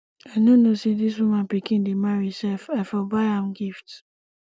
i no know say dis woman pikin dey marry sef i for buy am gift